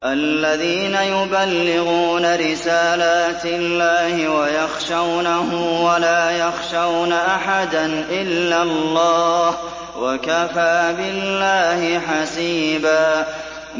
الَّذِينَ يُبَلِّغُونَ رِسَالَاتِ اللَّهِ وَيَخْشَوْنَهُ وَلَا يَخْشَوْنَ أَحَدًا إِلَّا اللَّهَ ۗ وَكَفَىٰ بِاللَّهِ حَسِيبًا